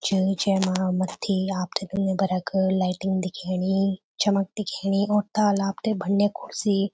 च जैमा मथ्थी आपथे दुनियाभर क लाइटिंग दिखेणी चमक दिखेनी और ताल आपथे भंडिया कुर्सी --